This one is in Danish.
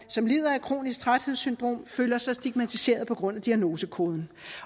som lider af kronisk træthedssyndrom føler sig stigmatiserede på grund af diagnosekoden